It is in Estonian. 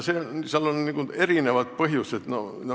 Seal on erinevaid põhjusi.